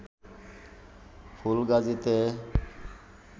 ফুলগাজীতে